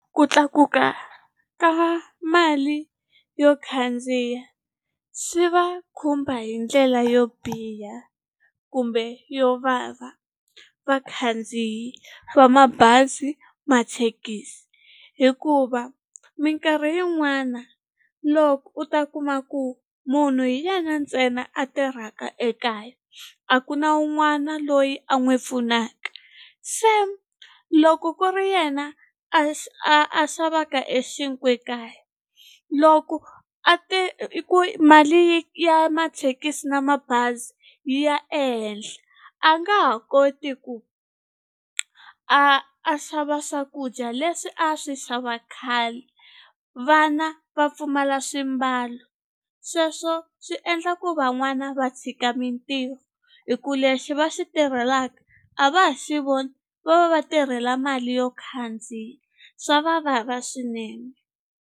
Ku tlakuka ka mali yo khandziya swi va khumba hi ndlela yo biha kumbe yo vava vakhandziyi va mabazi mathekisi hikuva minkarhi yin'wana loko u ta kuma ku munhu hi yena ntsena a tirhaka ekaya a ku na wun'wana loyi a n'wi pfunaka se loko ku ri yena a a a xavaka e xinkwa ekaya loko a i ku mali ya mathekisi na mabazi yi ya ehenhla a nga ha koti ku a a xava swakudya leswi a swi xava khale vana va pfumala swimbalo sweswo swi endla ku van'wana va tshika mintirho hi ku lexi va xi tirhelaka a va ha xi voni va va va tirhela mali yo khandziya swa va vava swinene.